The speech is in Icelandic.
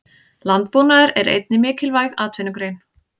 Landbúnaður er einnig mikilvæg atvinnugrein.